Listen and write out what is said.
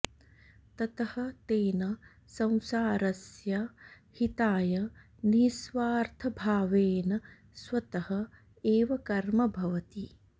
ततः तेन संसारस्य हिताय निःस्वार्थभावेन स्वतः एव कर्म भवति